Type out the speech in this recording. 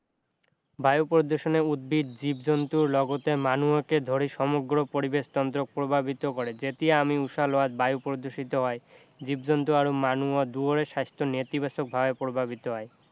বায়ু প্ৰদূষণে উদ্ভিদ জীৱ-জন্তুৰ লগতে মানুহকে ধৰি সমগ্ৰ পৰিবেশ তন্ত্ৰক প্ৰভাৱিত কৰে যেতিয়া আমি উশাহ লোৱাত বায়ু প্ৰদূষিত হয় জীৱ-জন্তু আৰু মানুহৰ দুয়োৰে স্বাস্থ্য নেতিবাচক ভাৱে প্ৰভাৱিত হয়